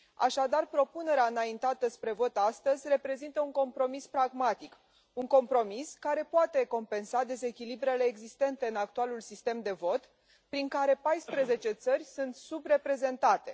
Așadar, propunerea înaintată spre vot astăzi reprezintă un compromis pragmatic, un compromis care poate compensa dezechilibrele existente în actualul sistem de vot, prin care 14 țări sunt subreprezentate.